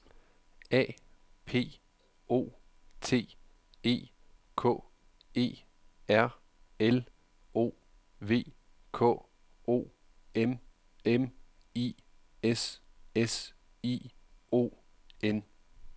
A P O T E K E R L O V K O M M I S S I O N